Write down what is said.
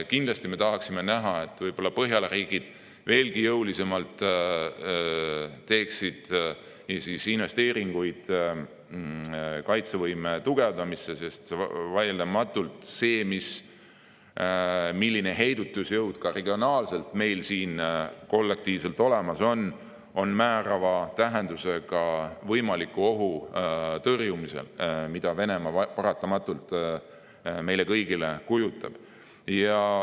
Kindlasti me tahaksime, et Põhjala riigid veelgi jõulisemalt teeksid investeeringuid kaitsevõime tugevdamiseks, sest vaieldamatult see, milline heidutusjõud on meil siin regioonis kollektiivselt olemas, on määrava tähendusega, et tõrjuda võimalikku ohtu, mida Venemaa paratamatult meile kõigile kujutab.